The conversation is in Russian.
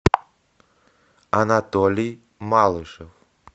анатолий малышев